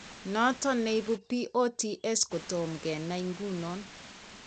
Noton neibu POTS kotom kenai ngunon